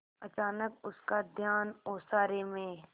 अचानक उसका ध्यान ओसारे में